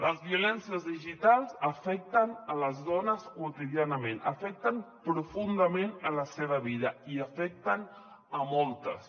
les violències digitals afecten les dones quotidianament afecten profundament la seva vida i n’afecten moltes